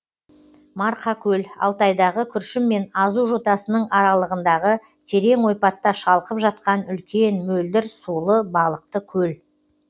марқакөл алтайдағы күршім мен азу жотасының аралығындағы терең ойпатта шалқып жатқан үлкен мөлдір сулы балықты көл